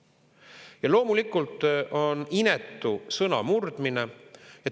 Ja loomulikult on see inetu sõnamurdmine.